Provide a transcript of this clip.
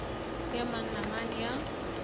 ya mani na mani ya